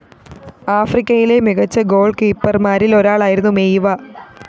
ആഫ്രിക്കയിലെ മികച്ച ഗോള്‍കീപ്പര്‍മാരില്‍ ഒരാളായിരുന്നു മെയിവ